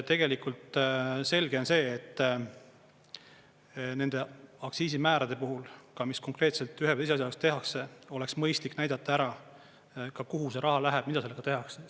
Tegelikult selge on see, et nende aktsiisimäärade puhul ka, mis konkreetselt ühe või teise asja eest tehakse, oleks mõistlik näidata ära, kuhu see raha läheb, mida sellega tehakse.